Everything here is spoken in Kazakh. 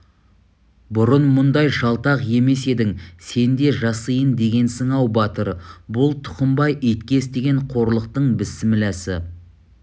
бұрын мұндай жалтақ емес едің сен де жасиын дегенсің-ау батыр бұл тұқымбай итке істеген қорлықтың бісмілласы